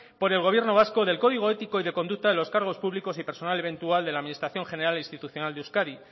por el gobierno vasco del código ético y de conducta de los cargos públicos y personal eventual de la administración general e institucional de euskadi